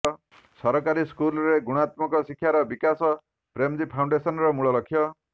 ସରକାରୀ ସ୍କୁଲରେ ଗୁଣାତ୍ମକ ଶିକ୍ଷାର ବିକାଶ ପ୍ରେମଜୀ ଫାଉଣ୍ଡେସନର ମୂଳ ଲକ୍ଷ୍ୟ